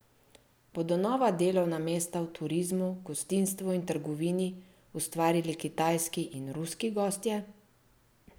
Bodo nova delovna mesta v turizmu, gostinstvu in trgovini ustvarili kitajski in ruski gostje?